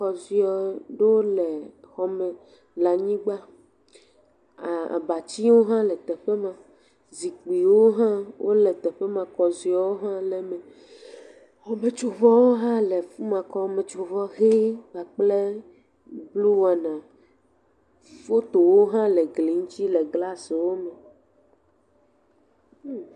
Kɔziɔ ɖewo le xɔ me le anyigba, a abatiwo hã le teƒe ma, zikpuiwo hã wole teƒe ma, kɔziɔwo hã le me, xɔmetsovɔwo hã le teƒe ma, xɔmetsovɔ ʋe kpakple blu wan, fpyowo hã le gli ŋuti le glasiwo me.